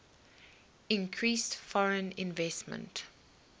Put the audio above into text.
increased foreign investment